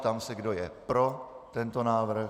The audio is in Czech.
Ptám se, kdo je pro tento návrh.